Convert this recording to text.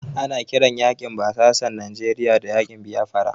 Ana kiran yaƙin basasan Nijeriya da yaƙin Biyafara.